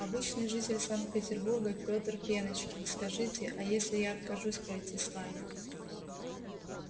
обычный житель санкт-петербурга пётр пеночкин скажите а если я откажусь пройти с вами